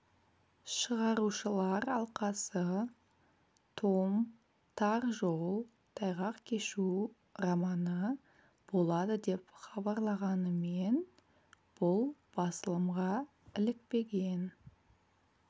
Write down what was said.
шығарушылар алқасы том тар жол тайғақ кешу романы болады деп хабарлағанымен бұл басылымға ілікпеген